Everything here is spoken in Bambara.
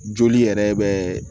Joli yɛrɛ bɛ